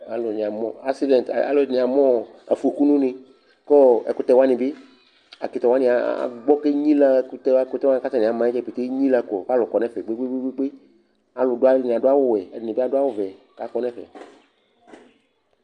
Alʋnɩ amʋ aksidɛ̃t, alʋɛdɩnɩ amʋ ɔ afoku nʋ une kʋ ɔ ɛkʋtɛ wanɩ bɩ, ɛkʋtɛ wanɩ agbɔ kʋ enyilǝ Ɛkʋtɛ wa ɛkʋtɛ wanɩ kʋ atanɩ ama yɛ dza pete enyilǝ kɔ kʋ alʋ kɔ nʋ ɛfɛ kpe-kpe-kpe Alʋdʋ alʋɛdɩnɩ adʋ awʋwɛ, ɛdɩnɩ bɩ adʋ awʋvɛ kʋ akɔ nʋ ɛfɛ